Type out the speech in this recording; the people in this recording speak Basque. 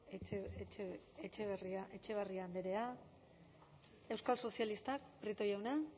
etxebarria andrea euskal sozialistak prieto jauna